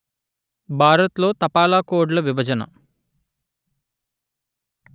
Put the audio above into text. భారత్ లో తపాలా కోడ్ ల విభజన